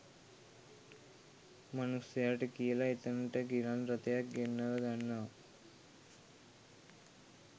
මනුස්සයට කියලා එතෙන්ට ගිලන්රථයක් ගෙන්නවගන්නවා